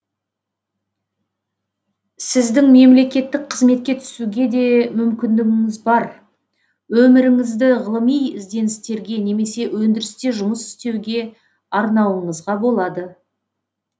сіздің мемлекеттік қызметке түсуге де мүмкіндігіңіз бар өміріңізді ғылыми ізденістерге немесе өндірісте жұмыс істеуге арнауыңызға болады